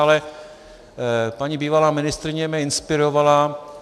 Ale paní bývalá ministryně mě inspirovala.